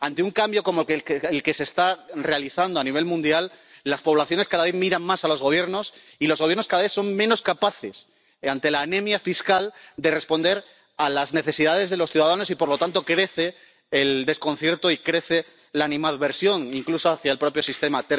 Ante un cambio como el que se está realizando a nivel mundial, las poblaciones cada vez miran más a los gobiernos y los gobiernos cada vez son menos capaces, ante la anemia fiscal, de responder a las necesidades de los ciudadanos y, por lo tanto, crece el desconcierto y crece la animadversión incluso hacia el propio sistema.